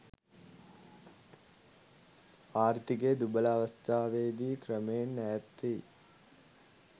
ආර්ථිකය දුබල අවස්ථාවේදී ක්‍රමයෙන් ඈත් වෙයි.